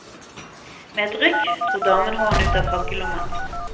Med et rykk dro damen hånden ut av frakkelommen.